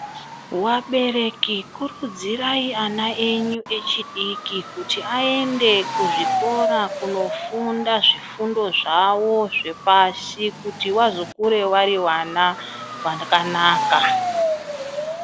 Vabereki kurudzirai ana enyu echidiki kuti aende kuzvikora kunofunda zvifundo zvawo zvepasi kuti vazokure vari vana vakanaka.